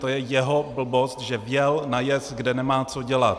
To je jeho blbost, že vjel na jez, kde nemá co dělat.